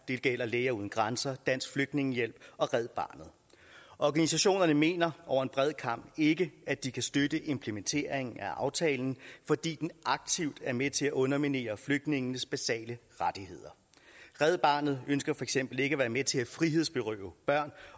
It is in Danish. det gælder læger uden grænser dansk flygtningehjælp og red barnet organisationerne mener over en bred kam ikke at de kan støtte implementeringen af aftalen fordi den aktivt er med til at underminere flygtningenes basale rettigheder red barnet ønsker for eksempel ikke at være med til at frihedsberøve børn